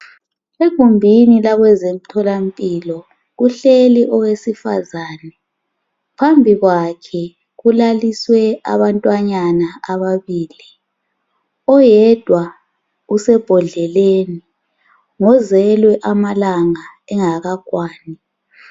Egumbini lakwezemtholampilo kuhleli owesifazana phambi kwakhe kulaliswe abantwanyana ababili oyedwa usebhodleleni ngozelwe amalanga engakakwani.